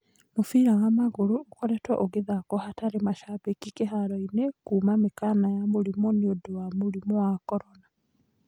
Mũbĩra wa magũrũ ũkoretwo ũgathakwo hatarĩ macambĩki kĩharo-inĩ kuuma mĩkana ya mũrimũ nĩũndũ wa mũrimũ wa korona.